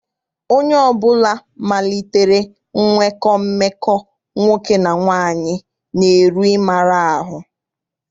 Onye ọbụla malitere nwekọ mmekọ nwoke na nwaanyị na-eru n'ịmara ahụ.